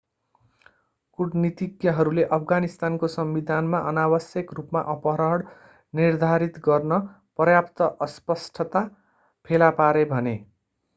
कूटनीतिज्ञहरूले अफगानिस्तानको संविधानमा अनावश्यक रूपमा अपहरण निर्धारित गर्न पर्याप्त अस्पष्टता फेला पारे भने